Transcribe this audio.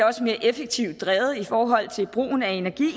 også mere effektivt drevet i forhold til brugen af energi